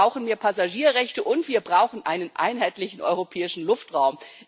Wir brauchen mehr Passagierrechte und wir brauchen einen einheitlichen europäischen Luftraum.